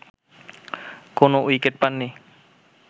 কোনো উইকেট পাননি